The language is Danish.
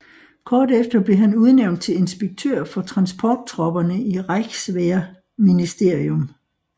Kort efter blev han udnævnt til inspektør for transporttropperne i Reichswehrministerium